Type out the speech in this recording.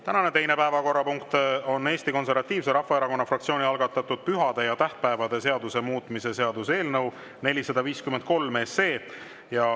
Tänane teine päevakorrapunkt on Eesti Konservatiivse Rahvaerakonna fraktsiooni algatatud pühade ja tähtpäevade seaduse muutmise seaduse eelnõu 453.